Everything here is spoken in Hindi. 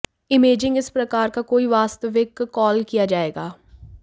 इमेजिंग इस प्रकार का कोई वास्तविक कॉल किया जाएगा